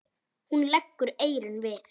Hún leggur eyrun við.